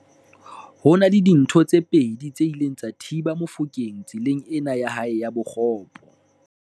Ho na le dintho tse pedi tse ileng tsa thiba Mofokeng tseleng ena ya hae ya bokgopo.